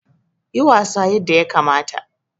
Yi wasa yadda yakamata!